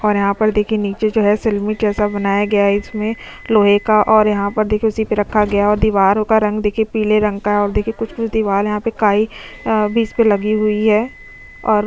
और यहां पर देखिए नीचे जो है सिरमिक जैसा बनाया गया है इसमें लोहे का और यहां पर देखिए उसी पे रखा गया है और दीवारों का रंग देखिए पीले रंग का है और देखिए कुछ-कुछ दीवाल यहां पे काई अ भी इस पे लगी हुई है और --